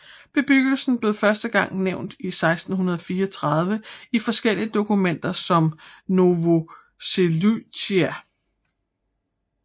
Bebyggelsen blev første gang nævnt i 1634 i forskellige dokumenter som Novoselytsia